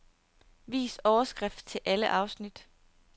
Vis overskrift til alle afsnit.